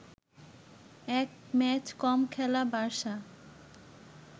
এক ম্যাচ কম খেলা বার্সা